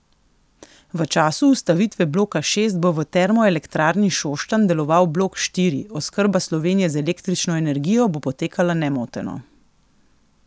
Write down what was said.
V času ustavitve bloka šest bo v Termoelektrarni Šoštanj deloval blok štiri, oskrba Slovenije z električno energijo bo potekala nemoteno.